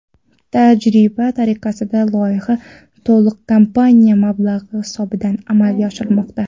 Tajriba tariqasidagi loyiha to‘liq kompaniya mablag‘i hisobidan amalga oshirilmoqda.